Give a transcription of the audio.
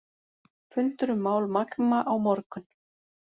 Fundur um mál Magma á morgun